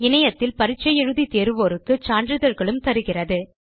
இணையத்தில் பரிட்சை எழுதி தேர்வோருக்கு சான்றிதழ்களும் தருகிறது